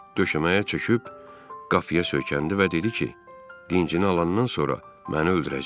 Döşəməyə çöküb qapıya söykəndi və dedi ki, dincini alandan sonra məni öldürəcək.